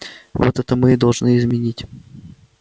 вот это мы и должны изменить